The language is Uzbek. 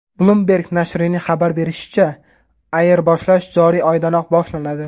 Bloomberg nashrining xabar berishicha, ayirboshlash joriy oydayoq boshlanadi.